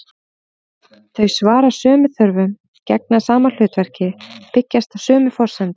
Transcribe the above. Þau svara sömu þörfum, gegna sama hlutverki, byggjast á sömu forsendum.